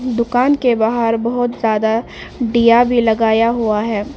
दुकान के बाहर बहुत ज्यादा दिया भी लगाया हुआ है।